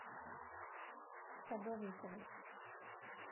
садовниковой